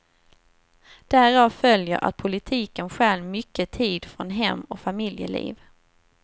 Därav följer att politiken stjäl mycket tid från hem och familjeliv.